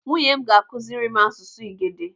Nwunye m ga-akụziri m asụsụ Igede.